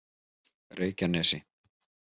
Reykjanesi